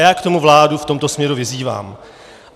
Já k tomu vládu v tomto směru vyzývám.